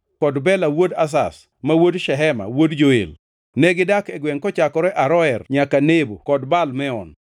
kod Bela wuod Azaz, ma wuod Shema, wuod Joel. Negidak e gwengʼ kochakore Aroer nyaka Nebo kod Baal Meon.